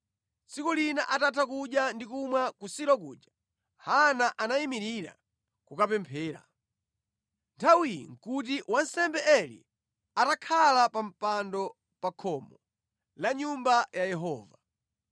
Tsiku lina atatha kudya ndi kumwa ku Silo kuja, Hana anayimirira kukapemphera. Nthawiyi nʼkuti wansembe Eli atakhala pa mpando pa khomo la Nyumba ya Yehova.